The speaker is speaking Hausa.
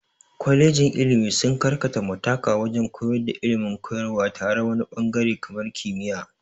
Kwalejin ilmi sun karkata mutaƙa wajen koyar da ilmin koyarwa tare wani ɓangare kamar kimiya